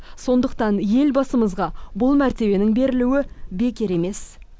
сондықтан елбасымызға бұл мәртебенің берілуі бекер емес